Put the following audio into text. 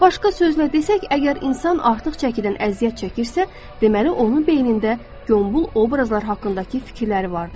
Başqa sözlə desək, əgər insan artıq çəkidən əziyyət çəkirsə, deməli onun beynində gonbul obrazlar haqqındakı fikirləri vardır.